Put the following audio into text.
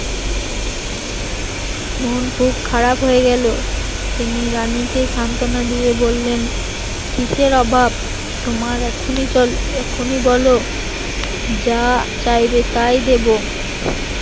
মন খুব খারাপ হয়ে গেল, তিনি রানীকে সান্ত্বনা দিয়ে বললেন কিসের অভাব তোমার এখনই চলো এখনই বলো যা চাইবে তাই দেবো